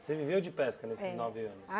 Você viveu de pesca nesses nove anos?